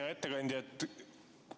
Hea ettekandja!